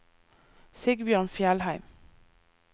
Sigbjørn Fjellheim